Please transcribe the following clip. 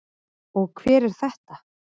Og hver er þetta?